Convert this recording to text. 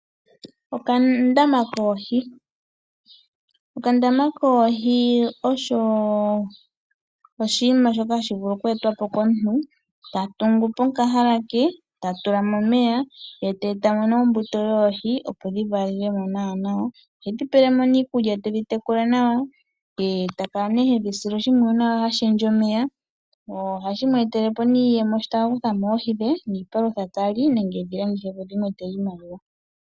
Okandama koohi, okandama koohi osho oshinima shoka hashi vulu okweetwa po komuntu, ta tungu po okahala ke, ta tula mo omeya ye tee tamo nee ombuto yoohi opo dhi valele mo nawa nawa. Ohe dhi pele mo nee iikulya tedhi tekula nawa, ye takala nee tedhi sile oshimpwuyu ha shendja omeya, ohashi mu etele nee iiyemo shi ta ka kutha mo oohi dhe niipalutha ta li, nenge edhi landithepo dhimwetele iimaliwa.